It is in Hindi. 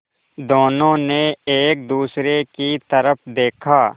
दोनों ने एक दूसरे की तरफ़ देखा